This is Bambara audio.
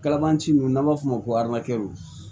Kalabanci ninnu n'an b'a fɔ o ma ko